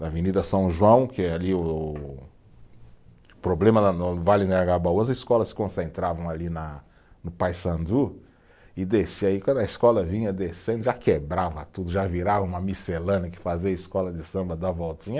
Na Avenida São João, que é ali o problema lá no no, Vale do Anhangabaú, as escolas se concentravam ali na, no Paissandu e descia, e quando a escola vinha descendo já quebrava tudo, já virava uma miscelânea que fazia a escola de samba dar voltinha.